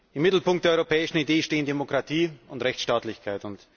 Im Mittelpunkt der europäischen Idee stehen Demokratie und Rechtsstaatlichkeit.